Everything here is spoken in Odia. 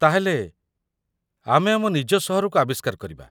ତା'ହେଲେ, ଆମେ ଆମ ନିଜ ସହରକୁ ଆବିଷ୍କାର କରିବା?